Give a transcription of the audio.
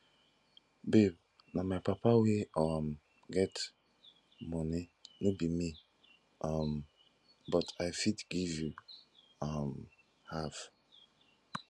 babe na my papa wey um get money no be me um but i fit give you um half